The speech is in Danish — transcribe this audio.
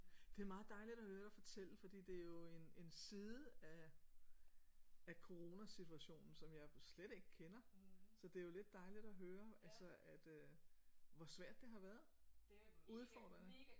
Det er meget dejligt at høre dig fortælle fordi det er jo en en side af af coronasituationen som jeg slet ikke kender så det er jo lidt dejligt at høre altså at øh hvor svært det har været udfordrende